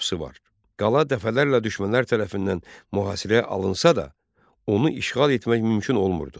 Qala dəfələrlə düşmənlər tərəfindən mühasirəyə alınsa da, onu işğal etmək mümkün olmurdu.